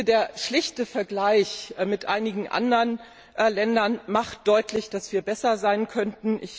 Der schlichte Vergleich mit einigen anderen Ländern macht deutlich, dass wir besser sein könnten.